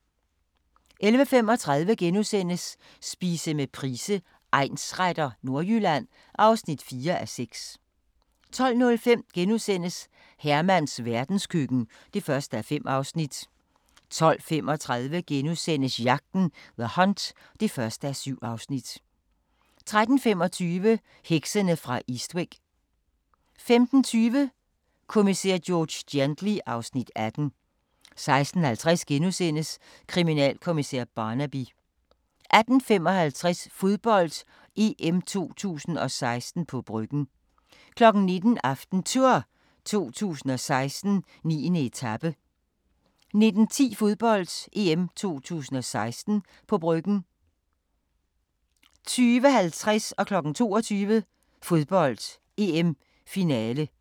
11:35: Spise med Price, egnsretter: Nordjylland (4:6)* 12:05: Hermans verdenskøkken (1:5)* 12:35: Jagten – The Hunt (1:7)* 13:25: Heksene fra Eastwick 15:20: Kommissær George Gently (Afs. 18) 16:50: Kriminalkommissær Barnaby * 18:55: Fodbold: EM 2016 – på Bryggen 19:00: AftenTour 2016: 9. etape 19:10: Fodbold: EM 2016 – på Bryggen 20:50: Fodbold: EM - finale, direkte